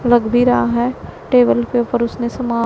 लग भी रहा है टेबल के ऊपर उसने समान--